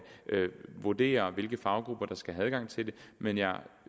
vurdere hvilke faggrupper der skal have adgang til dem men jeg